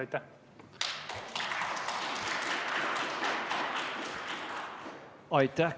Aitäh!